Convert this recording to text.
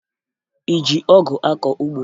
Ị ji ọgụ akọ ugbo?